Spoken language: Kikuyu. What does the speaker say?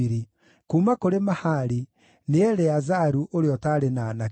kuuma kũrĩ Mahali: nĩ Eleazaru, ũrĩa ũtaarĩ na aanake.